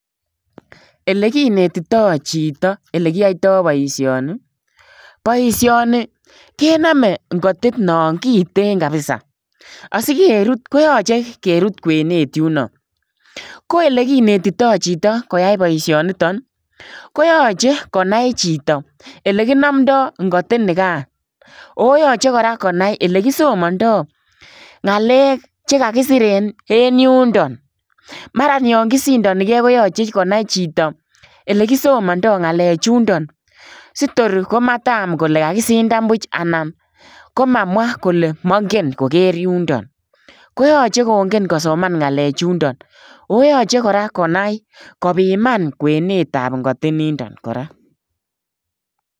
Ele kinetitoi chitoo ole kiyaitaa boisioni ii boisioni kenamewn ingotit naan kiteen kabisa asikeruut koyachei keruut kweneet yunaa ko ele kinetitoi chitoo koyai boisioni nitoon ii ko yachei konai chitoo ele kinamndai ingotit nigaan ago yachei kora konai ole kisomandaa ngalek che kagisir en yundaa maraan yaan kosindanikei yachei konai chitoo ele kisomandaa ngalek chundoo si toor komataam kole kagisindaan buuch anan ko mamwaa kole kangeen koger yundaa. Koyachei kongeen kosomaan ngalek chuundaan oo yachei kora konai kobiman kweneet ab ingotit nindaan kora.